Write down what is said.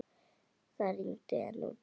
Það rigndi enn úti.